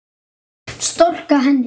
Storka henni.